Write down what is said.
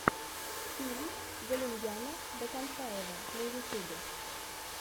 фильм галимьяна ботантаева на ютубе